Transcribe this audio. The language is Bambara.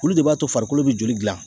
Olu de b'a to farikolo be joli gilan